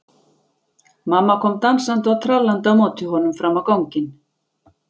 Mamma kom dansandi og trallandi á móti honum fram á ganginn.